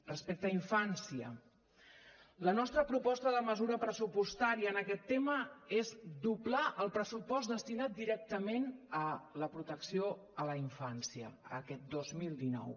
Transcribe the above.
respecte a infància la nostra proposta de mesura pressupostària en aquest tema és doblar el pressupost destinat directament a la protecció a la infància aquest dos mil dinou